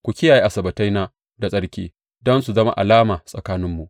Ku kiyaye Asabbataina da tsarki, don su zama alama tsakaninmu.